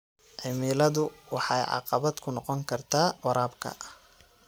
Cimiladu waxay caqabad ku noqon kartaa waraabka.